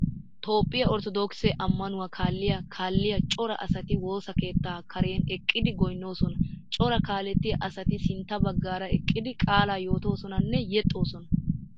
Toophphiya orttodookise ammanuwaa kaalliya kaalliya cora asati woosa keettaa Karen eqqidi goynnoosona Cora kaalettiyaa asati sintta baggaara eqqidi qaalaa yootoosonanne yexxoosona